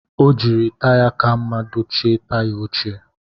O jiri taya ka mma dochie taya ochie